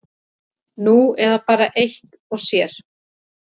Nú eða bara eitt og sér.